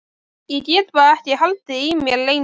Ég gat bara ekki haldið í mér lengur.